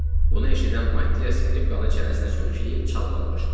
Bunu eşidən Mattiya skripkanı çənəsinə söykəyib çalmağa başladı.